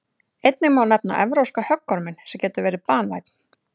einnig má nefna evrópska höggorminn sem getur verið banvænn